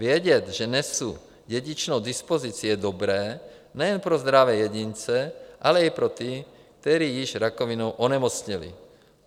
Vědět, že nesu dědičnou dispozici, je dobré nejen pro zdravé jedince, ale i pro ty, kteří již rakovinou onemocněli.